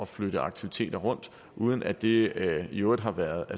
flytte aktiviteter rundt og uden at det i øvrigt har været